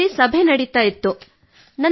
ಶಾಲೆಯಲ್ಲಿ ಸಭೆ ನಡೆಯುತ್ತಿತ್ತು